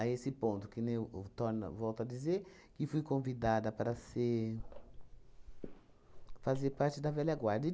esse ponto, que nem eu v torno volto a dizer que fui convidada para ser fazer parte da velha guarda. E